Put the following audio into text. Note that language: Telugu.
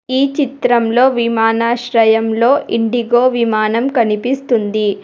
ఈ చిత్రంలో విమానాశ్రయంలో ఇండిగో విమానం కనిపిస్తుంది.